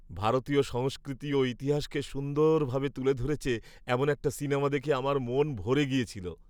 ভারতীয় সংস্কৃতি ও ইতিহাসকে সুন্দরভাবে তুলে ধরেছে এমন একটা সিনেমা দেখে আমার মন ভরে গিয়েছিল।